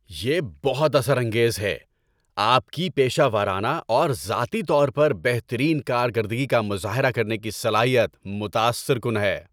یہ بہت اثر انگیز ہے۔ آپ کی پیشہ ورانہ اور ذاتی طور پر بہترین کارکردگی کا مظاہرہ کرنے کی صلاحیت متاثر کن ہے۔